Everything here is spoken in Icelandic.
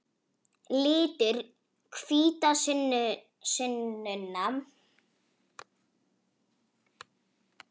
Litur hvítasunnunnar er rauður.